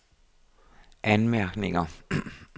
anmærkninger